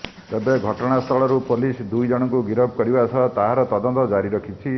ତେେବ ଘଟଣାସ୍ଥଳରୁ ପୋଲିସ ଦୁଇ ଜଣଙ୍କୁ ଗିରଫ କରିବା ସହ ତାର ତଦନ୍ତ ଜାରି ରଖିଛି